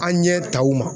An ɲɛ taw ma